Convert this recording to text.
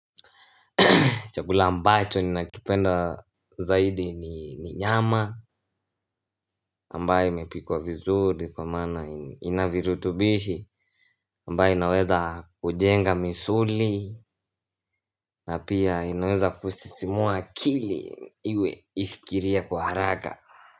Chakula ambacho ni nakipenda zaidi ni nyama ambaye amepikuwa vizuri kwa maana inavirutubishi ambaye inaweza kujenga misuli na pia inaweza kusisimua akili iwe ifikirie kwa haraka.